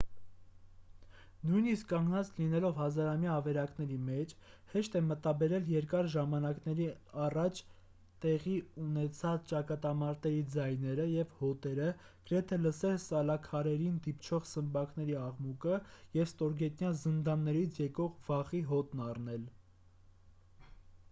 նույնիսկ կանգնած լինելով հազարամյա ավերակների մեջ հեշտ է մտաբերել երկար ժամանակներ առաջ տեղի ունեցած ճակատամարտերի ձայները և հոտերը գրեթե լսել սալաքարերին դիպչող սմբակների աղմուկը և ստորգետնյա զնդաններից եկող վախի հոտն առնել